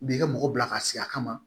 U b'i ka mɔgɔ bila ka si a kama